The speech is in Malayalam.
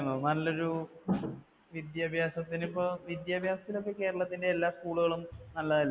നല്ലൊരു വിദ്യാഭ്യാസത്തിന് ഇപ്പ, വിദ്യാഭ്യാസത്തിൽ ഇപ്പ Kerala ന്‍ടെ എല്ലാ school കളും നല്ലതല്ലേ,